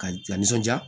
Ka lanisɔndiya